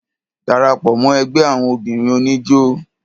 Darapọ̀ mọ́ ẹgbẹ́ àwọn obìnrin oníjó.